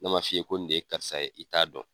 N'a man f'i ye ko nin de ye karisa ye i t'a dɔn.